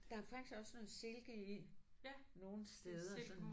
Der er faktisk også noget silke i nogle steder sådan